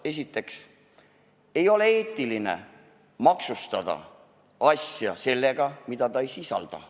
Esiteks, ei ole eetiline maksustada asja puhul seda, mida ta ei sisalda.